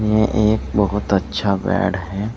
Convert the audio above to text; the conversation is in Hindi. यह एक बहुत अच्छा बेड है।